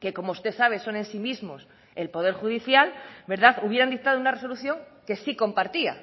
que como usted sabe son en sí mismos el poder judicial verdad hubieran dictado una resolución que sí compartía